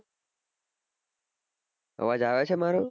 અવાજ આવે છે મારો